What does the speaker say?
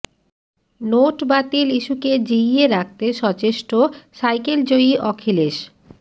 note বাতিল ইস্যুকে জিইয়ে রাখতে সচেষ্ট সাইকেল জয়ী অখিলেশ